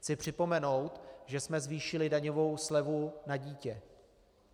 Chci připomenout, že jsme zvýšili daňovou slevu na dítě.